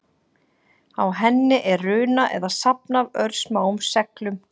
Á henni er runa eða safn af örsmáum seglum.